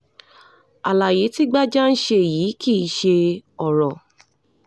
àlàyé tí gbájá ń ṣe yìí kì í ṣe ọ̀rọ̀